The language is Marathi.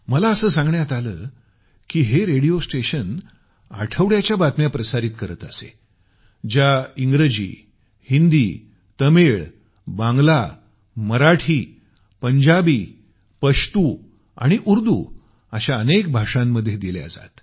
मला असं सांगण्यात आलं की हे रेडिओ स्टेशन आठवड्याच्या बातम्या प्रसारित करत असे ज्या इंग्रजी हिंदी तमिळ बांगला मराठी पंजाबी पश्तू आणि उर्दू अशा अनेक भाषांमध्ये दिल्या जात